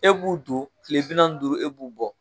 E b'u don kiile bi naani ni duuru e b'u bɔ.